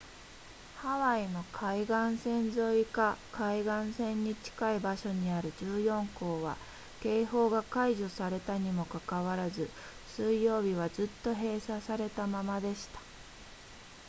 ハワイの海岸線沿いか海岸線に近い場所にある14校は警報が解除されたにもかかわらず水曜日はずっと閉鎖されたままでした